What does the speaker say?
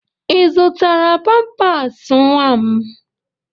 Ị zụtara pampaasị nwa m?